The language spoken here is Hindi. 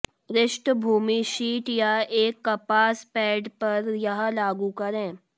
पृष्ठभूमि शीट या एक कपास पैड पर यह लागू करें